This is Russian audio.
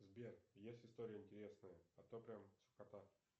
сбер есть история интересная а то прям скукота